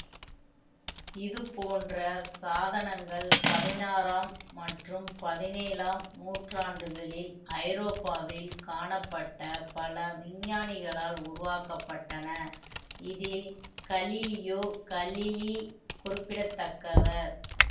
இதுபோன்ற சாதனங்கள் பதினாறாம் மற்றும் பதினேழாம் நூற்றாண்டுகளில் ஐரோப்பாவில் காணப்பட்ட பல விஞ்ஞானிகளால் உருவாக்க பட்டன இதில் கலிலியோ கலிலி குறிப்பிடத்தக்கவர்